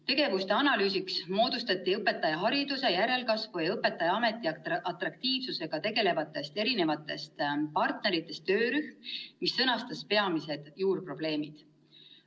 Tegevuste analüüsiks moodustati õpetajahariduse järelkasvu ja õpetajaameti atraktiivsusega tegelevatest partneritest töörühm, mis sõnastas peamised juurprobleemid.